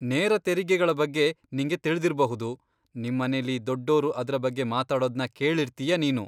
ನೇರ ತೆರಿಗೆಗಳ ಬಗ್ಗೆ ನಿಂಗೆ ತಿಳ್ದಿರ್ಬಹುದು, ನಿಮ್ಮನೆಲಿ ದೊಡ್ಡೋರು ಅದ್ರ ಬಗ್ಗೆ ಮಾತಾಡೋದ್ನ ಕೇಳಿರ್ತೀಯ ನೀನು.